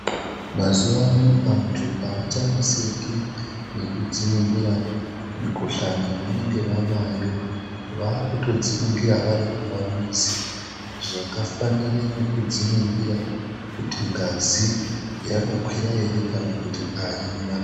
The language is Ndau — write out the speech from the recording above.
Mazuvaano antu haachaneseki nekudziningira mikuhlani yavanenge vanayo. Vaakutodziningira vari kumamizi. Zvakafanire nekudziningira kuti ngazi yakakwira ere kana kuti haina.